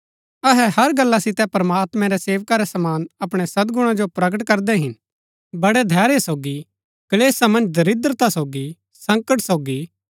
अहै हर गल्ला सितै प्रमात्मैं रै सेवका रै समान अपणै सदगुणा जो प्रगट करदै हिन बड़ै धैर्य सोगी क्‍लेशा मन्ज दरिद्रता सोगी संकट सोगी